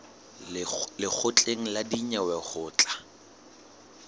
lekgotleng la dinyewe ho tla